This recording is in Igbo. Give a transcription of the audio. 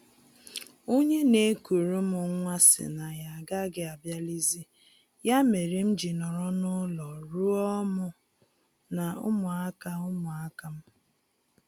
Onye na-ekuru m nwa sị na ya agaghị abịalizi, ya mere m ji nọrọ n'ụlọ rụọ mụ na ụmụaka ụmụaka m